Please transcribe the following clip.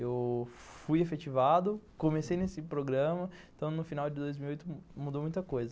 Eu fui efetivado, comecei nesse programa, então no final de dois mil e dezoito mudou muita coisa.